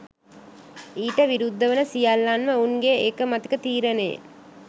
ඊට විරුද්ධ වන සියල්ලන්ම ඔවුන්ගේ ඒකමතික තීරණයෙන්